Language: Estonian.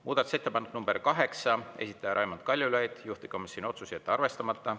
Muudatusettepanek nr 8, esitaja Raimond Kaljulaid, juhtivkomisjoni otsus: jätta arvestamata.